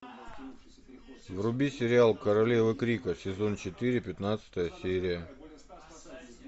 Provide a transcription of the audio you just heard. вруби сериал королевы крика сезон четыре пятнадцатая серия